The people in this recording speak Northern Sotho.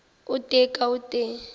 o tee ka o tee